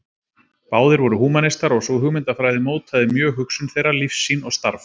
Báðir voru húmanistar og sú hugmyndafræði mótaði mjög hugsun þeirra, lífssýn og starf.